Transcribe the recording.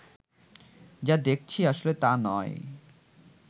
যা দেখছি আসলে তা নয়